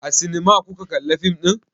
A sinima kuka kalla fim ɗin?